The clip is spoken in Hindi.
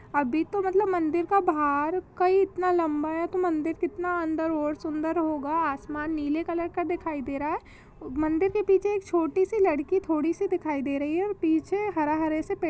अभी तो मतलब मंदिर का बाहर का ही इतना लम्बा है तो मंदिर कितना अन्दर और सुन्दर होगा आसमान नीले कलर का दिखाई दे रहा है मंदिर के पीछे एक छोटी सी लड़की थोड़ी सी दिखाई दे रही है और पीछे हरा हरे से पेड़--